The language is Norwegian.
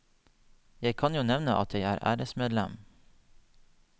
Jeg kan jo nevne at jeg er æresmedlem.